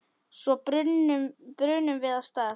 Svo brunum við af stað.